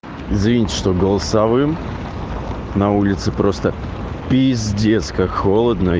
извините что голосовым на улице просто пииздец как холодно